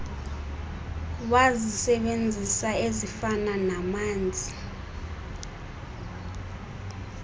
wazisebenzisa ezifana namanzi